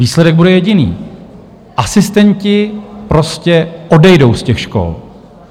Výsledek bude jediný - asistenti prostě odejdou z těch škol.